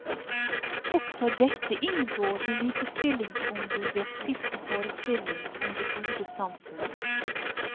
Også dette inngår i likestillingsombudets siste forestilling om det gode samfunn.